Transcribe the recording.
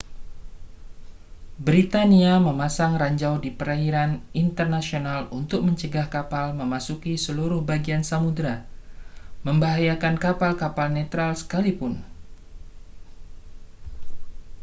britania memasang ranjau di perairan internasional untuk mencegah kapal memasuki seluruh bagian samudera membahayakan kapal-kapal netral sekalipun